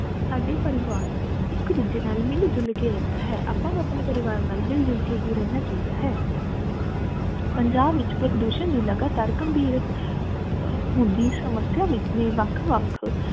ਸਾਡੇ ਪਰਿਵਾਰ ਇਕ ਦੂਜੇ ਨਾਲ ਮਿਲ ਝੁਲ ਕੇ ਰਹਿੰਦਾ ਹੈ ਆਪਾ ਨੂੰ ਆਪਣੇ ਪਰਿਵਾਰ ਨਾਲ ਮਿਲ ਝੁਲ ਕੇ ਹੀ ਰਹਿਣਾ ਚਾਹੀਦਾ ਹੈ ਪੰਜਾਬ ਵਿਚ ਪ੍ਰਦੂਸ਼ਣ ਨੂੰ ਲਗਾਤਾਰ ਘਮਭੀਰ ਅਹ ਹੁੰਦੀ ਸਮਸਿਆ ਵਿਚ ਮੈ ਵੱਖ ਵੱਖ